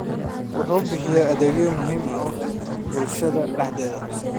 wuxuuna bixiyaa adeegyo muhiim u ah bulshada dhexdeeda.